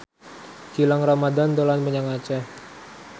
Gilang Ramadan dolan menyang Aceh